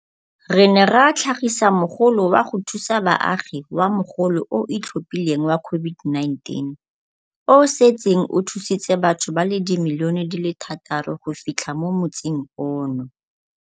Re ne ra tlhagisa Mogolo wa go Thusa Baagi wa Mogolo o o Itlhophileng wa COVID-19, o o setseng o thusitse batho ba le dimilione di le thataro go fitlha mo motsing ono.